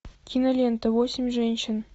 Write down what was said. кинолента восемь женщин